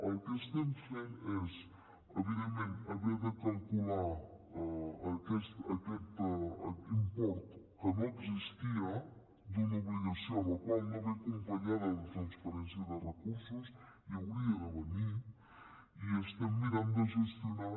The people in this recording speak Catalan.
el que estem fent és evidentment haver de calcular aquest import que no existia d’una obligació la qual no ve acompanyada de transferència de recursos i hi hauria de venir i estem mirant de gestionar